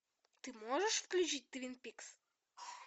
ты можешь включить твин пикс